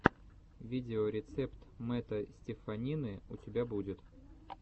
видеорецепт мэтта стеффанины у тебя будет